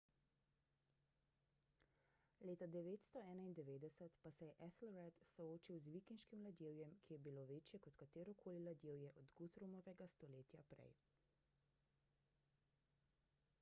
leta 991 pa se je ethelred soočil z vikinškim ladjevjem ki je bilo večje kot katerokoli ladjevje od guthrumovega stoletje prej